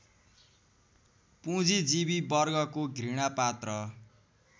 पुँजीजीवि वर्गको घृणापात्र